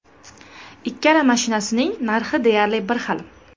Ikkala mashinasining narxi deyarli bir xil.